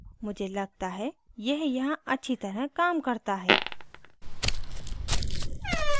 मुझे लगता है यह यहाँ अच्छी तरह काम करता है